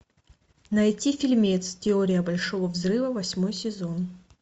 найти фильмец теория большого взрыва восьмой сезон